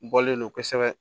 Bɔlen don kosɛbɛ